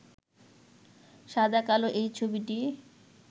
সাদা-কালো এই ছবিটি